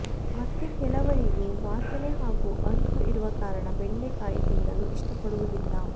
ಮತ್ತೆ ಕೆಲವರಿಗೆ ವಾಸನೆ ಹಾಗೂ ಅಂಟು ಇರುವ ಕಾರಣ ಬೆಂಡೆಕಾಯಿ ತಿನ್ನಲು ಇಷ್ಟಪಡುವುದಿಲ್ಲ